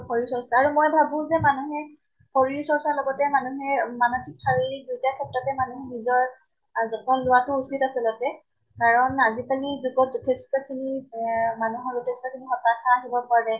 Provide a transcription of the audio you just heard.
শৰীৰ চৰ্চা আৰু মই ভাবো যে মানুহে শৰীৰ চৰ্চাৰ লগতে মানুহে মানসিক শাৰীৰিক দুইটা ক্ষেত্ৰতে মানুহ নিজৰ যতন লোৱাটো উচিত আচলতে। কাৰণ আজিকালি যুগত যথেষ্ট খিনি এ মানুহৰ উদ্দেশ্য তুমি হতাশা হʼব পাৰে